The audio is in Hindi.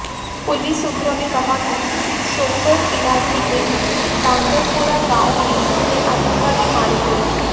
पुलिस सूत्रों ने कहा कि सोपोर इलाके के डांगरपोरा गांव में ये आतंकवादी मारे गए